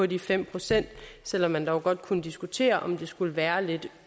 de fem pct selv om man dog godt kunne diskutere om det skulle være lidt